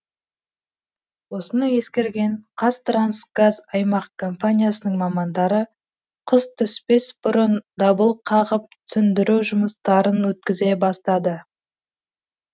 осыны ескерген қазтрансгаз аймақ компаниясының мамандары қыс түспес бұрын дабыл қағып түсіндіру жұмыстарын өткізе бастады